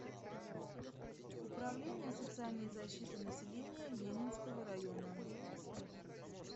управление социальной защиты населения ленинского района